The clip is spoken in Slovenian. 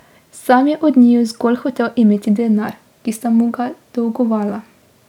Sam je od njiju zgolj hotel imeti denar, ki sta mu ga dolgovala.